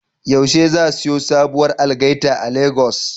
Yaushe za siyo sabuwar algaita a Lagos?